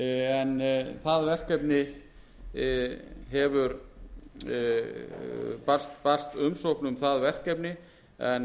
við norðanverðan steingrímsfjörð en það barst umsókn um það verkefni en